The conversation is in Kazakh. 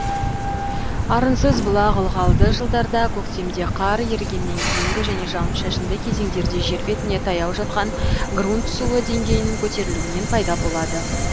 арынсыз бұлақ ылғалды жылдарда көктемде қар ерігеннен кейінгі және жауын шашынды кезеңдерде жер бетіне таяу жатқан грунт суы деңгейінің көтерілуінен пайда болады